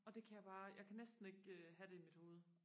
og det kan jeg bare jeg kan næsten ikke øh have det i mit hoved